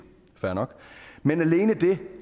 fair nok men alene det